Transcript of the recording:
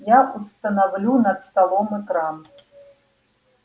я установлю над столом экран